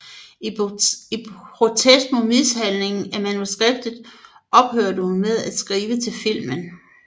I protest mod mishandlingen af manuskriptet ophørte hun med at skrive til filmen